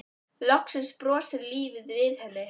Loksins brosir lífið við henni.